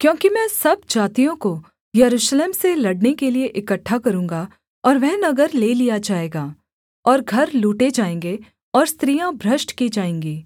क्योंकि मैं सब जातियों को यरूशलेम से लड़ने के लिये इकट्ठा करूँगा और वह नगर ले लिया जाएगा और घर लूटे जाएँगे और स्त्रियाँ भ्रष्ट की जाएँगी